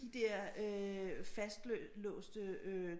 De der fastlåste øh